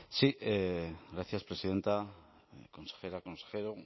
sí gracias presidenta consejera consejero